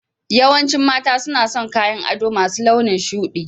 Yawancin mata suna son kayan ado masu launin shuɗi